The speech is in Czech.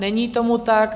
Není tomu tak.